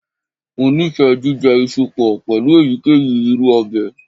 Mo nifẹ jijẹ iṣu pọ pẹlu eyikeyi iru ọbẹ.